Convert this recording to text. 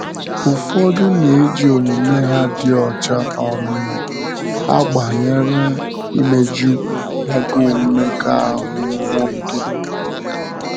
Ụfọdụ na-eji omume ha dị ọcha um agbànyere imeju agụụ mmekọahụ nwa oge.